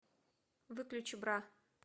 выключи бра